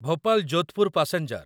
Bhopal Jodhpur passenger